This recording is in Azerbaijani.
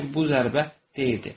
Lakin bu zərbə deyildi.